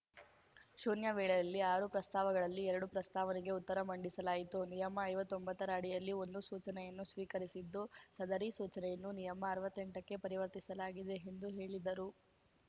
ಶೂನ್ಯ ವೇಳೆಯಲ್ಲಿ ಆರು ಪ್ರಸ್ತಾವಗಳಲ್ಲಿ ಎರಡು ಪ್ರಸ್ತಾವನೆಗೆ ಉತ್ತರ ಮಂಡಿಸಲಾಯಿತು ನಿಯಮ ಐವತ್ತೊಂಬತ್ತರ ಅಡಿಯಲ್ಲಿ ಒಂದು ಸೂಚನೆಯನ್ನು ಸ್ವೀಕರಿಸಿದ್ದು ಸದರಿ ಸೂಚನೆಯನ್ನು ನಿಯಮ ಅರ್ವತ್ತೆಂಟಕ್ಕೆ ಪರಿವರ್ತಿಸಲಾಗಿದೆ ಎಂದು ಹೇಳಿದ್ದರು